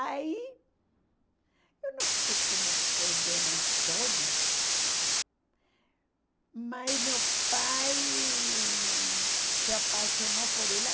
Aí, eu não sei como foi bem na história, mas meu pai se apaixonou por ela.